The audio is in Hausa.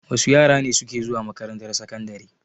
Wa su yara ne suke zuwa makarantar sakandare?